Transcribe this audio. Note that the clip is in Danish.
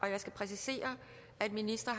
jeg skal præcisere at ministre